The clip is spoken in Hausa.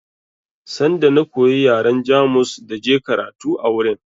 Sanda na koyi yaren Jamus da je karatu a wurin